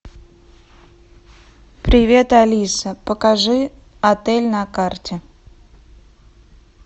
привет алиса покажи отель на карте